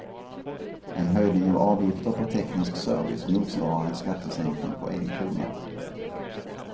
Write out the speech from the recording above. En höjning av avgifter på teknisk service motsvarar en skattesänkning på en krona.